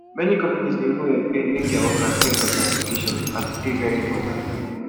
many companies dey even help pay make their workers get some certification as e dey very important